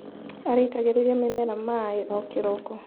Araitagĩrĩria mĩmera maĩ o kĩroko.